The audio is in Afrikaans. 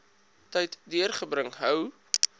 tyd deurbring hou